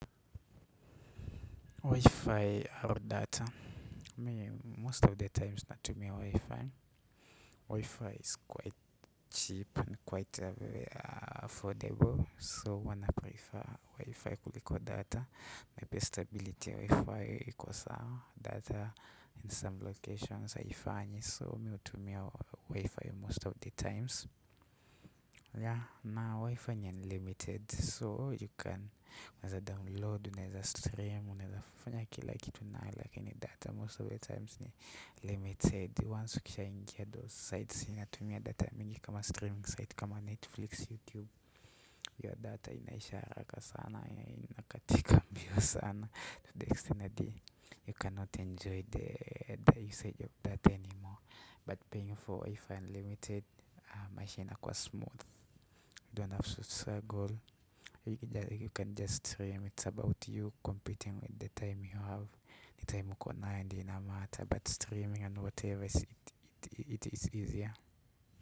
Wifi au data most of the times natumia wifi wifi is quite cheap quite affordable so huwa naprefer wifi kuliko data maybe stability ya wifi iko sawa data in some locations haifanyi so mi hutumia wifi most of the times Yeah na wifi ni unlimited so you can, unaeza download unaeza stream unaeza fanya kila kitu nayo lakini data most of the times ni limited once ukishaingia those sites inatumia data mingi kama streaming site kama netflix you tube ya data inaisha haraka sana inakatika mbio sana to the extend hadi you cannot enjoy the usage of data anymore but paying for wifi unlimited maisha inakuwa smooth you don't have to struggle you can just stream it's about you competing with the time you have the time uko nayo ndio ina matter but streaming and whatever it is easier.